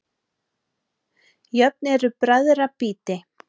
Jöfn eru bræðra býti.